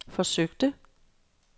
forsøgte